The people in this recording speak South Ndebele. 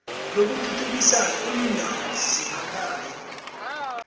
lokuthuthukisa iindawo zemakhaya